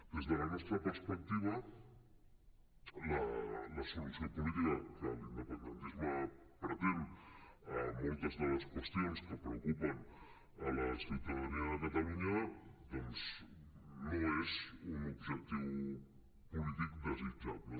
des de la nostra perspectiva la solució política que l’independentisme pretén en moltes de les qüestions que preocupen la ciutadania de catalunya doncs no és un objectiu polític desitjable